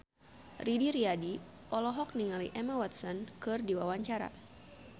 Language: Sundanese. Didi Riyadi olohok ningali Emma Watson keur diwawancara